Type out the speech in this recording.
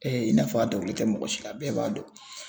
i n'a fɔ a dokolen tɛ mɔgɔ si la a bɛɛ b'a dɔn.